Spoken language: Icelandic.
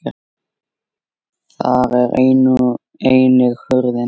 Þar er einnig hurðin.